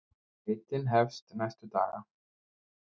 Leitin hefst næstu daga.